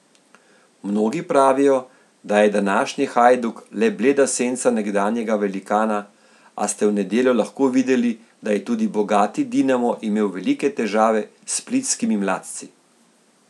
Mnogi pravijo, da je današnji Hajduk le bleda senca nekdanjega velikana, a ste v nedeljo lahko videli, da je tudi bogati Dinamo imel velike težave s splitskimi mladci.